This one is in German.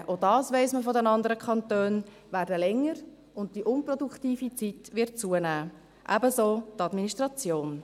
Die Anfahrtswege – auch dies weiss man von den anderen Kantonen – werden länger, und die unproduktive Zeit wird zunehmen, ebenso die Administration.